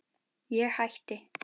Ég hætti.